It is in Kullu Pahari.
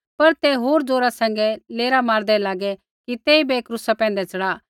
पर ते होर ज़ोरा सैंघै लेरा मारदै लागे कि तेइबै क्रूसा पैंधै च़ढ़ा